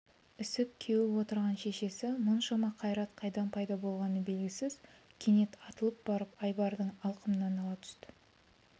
ісіп-кеуіп отырған шешесі мұншама қайрат қайдан пайда болғаны белгісіз кенет атылып барып айбардың алқымынан ала түсті